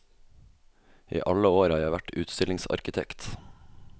I alle år har jeg vært utstillingsarkitekt.